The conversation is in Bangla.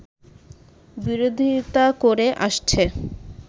বিরোধিতা করে আসছে